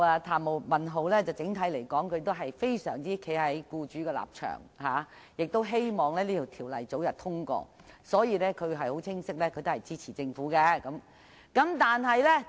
譚文豪議員整體上站在僱主的立場，希望《2017年僱傭條例草案》早日通過，清晰地表示會支持政府的修正案。